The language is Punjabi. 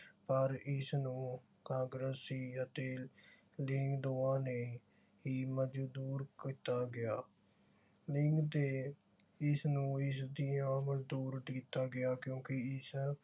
ਪਰ ਇਸਨੂੰ ਕਾਂਗਰਸੀ ਅਤੇ ਲੀਂਗ ਦੋਹਾਂ ਨੇ ਹੀ ਮਨਜੂਰ ਕੀਤਾ ਗਿਆ। ਲੀਂਗ ਦੇ ਇਸਨੂੰ ਇਸ ਦੀਆਂ ਮਨਜੂਰ ਕੀਤਾ ਗਿਆ ਕਿਉਕਿ ਇਸ